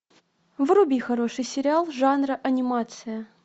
вруби хороший сериал жанра анимация